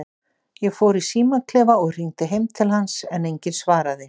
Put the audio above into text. Ég fór í símaklefa og hringdi heim til hans, en enginn svaraði.